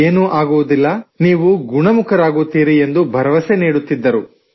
ಏನೂ ಆಗುವುದಿಲ್ಲ ನೀವು ಗುಣಮುಖರಾಗುತ್ತೀರಿ ಎಂದು ಭರವಸೆ ನೀಡುತ್ತಿದ್ದರು